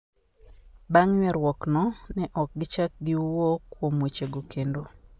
Bang' ywaruokno, ne ok gichak giwuo kuom wechego kendo".